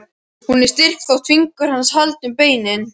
Hún er styrk þótt fingur hans haldi um beinin.